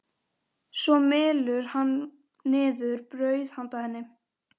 Svo mylur hann niður brauð handa henni.